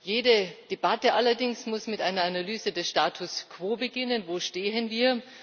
Jede Debatte allerdings muss mit einer Analyse des Status quo beginnen Wo stehen wir?